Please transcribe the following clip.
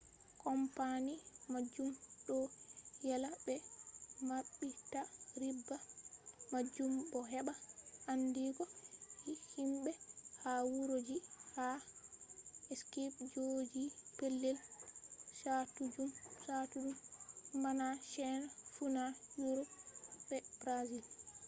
kompani majum ɗo yela ɓe maɓɓita riba majum bo heɓa andigo himɓe ha wuro ji ha skaip jogi pelel chattuɗum bana chaina funa yurop be brazil